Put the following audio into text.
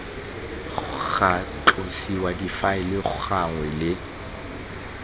ga tlosiwa difaele gangwe le